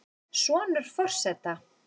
Sonur forseta